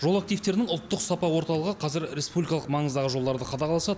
жол активтерінің ұлттық сапа орталығы қазір республикалық маңыздағы жолдарды қадағаласа